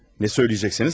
Nə söyləyəcəksiniz?